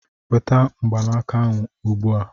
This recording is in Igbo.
Weta mgbanaka ahụ ugbu a!